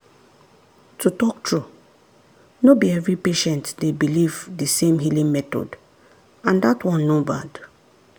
to talk true no be every patient dey belief the same healing method and that one no bad.